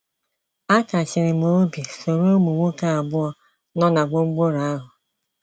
A kachiri m obi soro ụmụ nwoke abụọ nọ na gwongworo ahụ?